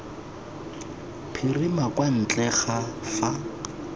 phirima kwa ntle ga fa